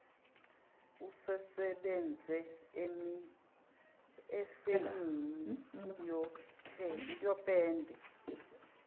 usesebenze efemini yopende